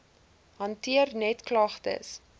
hanteer net klagtes